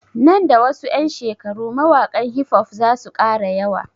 Nan da wasu ƴan shekaru mawaƙan hifof zasu ƙara yawa